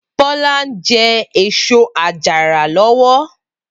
Bola n jè ésó àjàrá lòwò